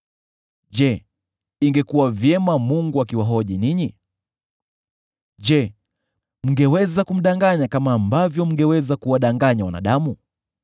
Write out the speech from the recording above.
Je, ingekuwa vyema Mungu akiwahoji ninyi? Je, mngeweza kumdanganya kama ambavyo mngeweza kuwadanganya wanadamu?